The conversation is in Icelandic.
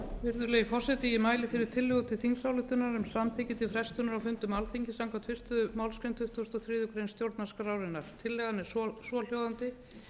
virðulegi forseti ég mæli fyrir tillögu til þingsályktunar um samþykki til frestunar á fundum alþingis samkvæmt fyrstu málsgrein tuttugustu og þriðju grein stjórnarskrárinnar tillagan er svohljóðandi